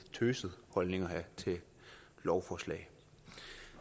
tøset holdning at have til lovforslag